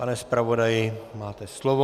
Pane zpravodaji, máte slovo.